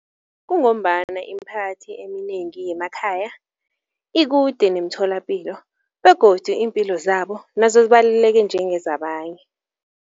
Kungombana imiphakathi eminengi yemakhaya ikude nemitholapilo begodu iimpilo zabo nazo zibaluleke njengezabanye.